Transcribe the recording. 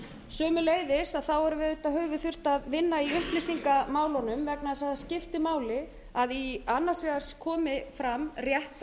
sömuleiðis höfum við auðvitað þurft að vinna í upplýsingamálunum vegna þess að það skiptir máli að annars vegar komi fram réttar